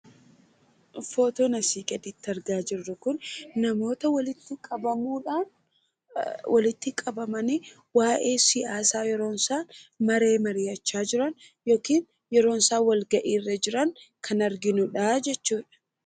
Footoon asi gaditti argaa jirru kun ,namoota walitti qabamuudhaan ,walitti qabamanii waa'ee siyaasaa yeroo isaan maree mari'achaa jiran yookiin yeroo isaan walgahii irra jiran kan arginuudha jechuudha.